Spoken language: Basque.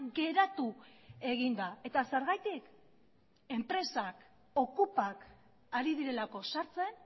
geratu egin da eta zergatik enpresak okupak ari direlako sartzen